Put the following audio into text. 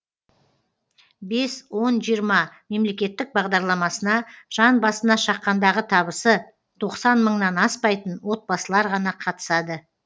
бес он жиырма мемлекеттік бағдарламасына жан басына шаққандағы табысы тоқсан мыңнан аспайтын отбасылар ғана қатысады